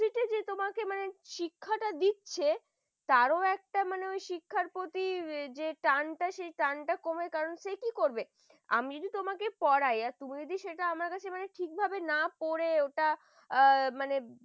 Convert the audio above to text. দিচ্ছে তারও একটা শিক্ষার প্রতি টানটা কমে কারণ সে কি করবে আমিও তোমাকে পড়ায় তুমি সেটা আমার কাছে মানে ঠিকভাবে না পড়ে ওটা আ